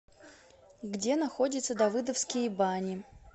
где находится давыдовские бани